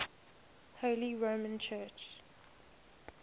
holy roman church